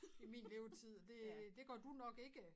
I min levetid det det gør du nok ikke